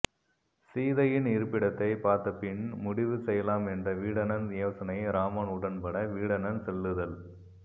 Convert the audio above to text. சீதையின் இருப்பிடத்தைப் பார்த்தபின் முடிவு செய்யலாம் என்ற வீடணன் யோசனையை இராமன் உடன்பட வீடணன் செல்லுதல்